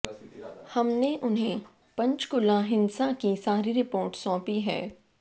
हमने उन्हें पंचकुला हिंसा की सारी रिपोर्ट सौंपी है